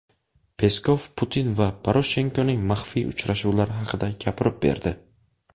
Peskov Putin va Poroshenkoning maxfiy uchrashuvlari haqida gapirib berdi.